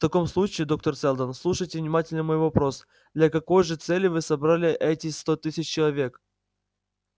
в таком случае доктор сэлдон слушайте внимательно мой вопрос для какой же цели вы собрали эти сто тысяч человек